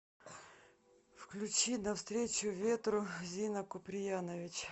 включи навстречу ветру зина куприянович